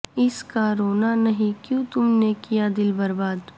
اس کا رونا نہیں کیوں تم نے کیا دل برباد